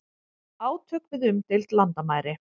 Átök við umdeild landamæri